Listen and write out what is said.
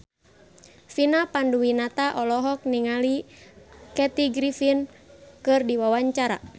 Vina Panduwinata olohok ningali Kathy Griffin keur diwawancara